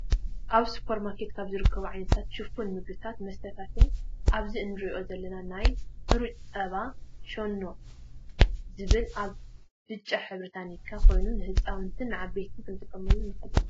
ኣብ ስፖርማርኬት ካብ ዝርከቡ ዓይነታት ሽፉን ምግብታት መስተታትን ኣብዚ እንሪኦም ዘለና ናይ ሕሩጭ ፀባ ሸኖ ዝብል ኣብ ብጫ ሕብሪ ታኒካ ኮይኑ ንህፃውትን ንዓበይትን ክንጥቀመሉ ንክእል ኢና።